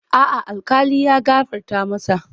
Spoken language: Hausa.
A'a, alkali ya gafarta masa.